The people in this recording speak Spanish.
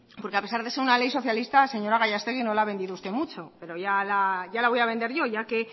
porque a pesar de ser una ley socialista señora gallastegui no la ha vendido usted mucho pero ya la voy a vender yo ya que